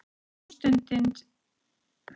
Samstundis eða með hraða ljóssins?